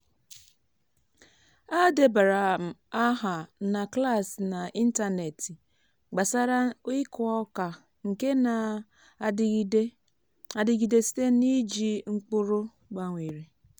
a debara m aha na klas n’ịntanetị gbasara ịkụ oka nke na-adịgide adịgide site n’iji mkpụrụ gbanwere.